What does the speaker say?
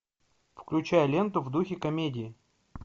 включай ленту в духе комедии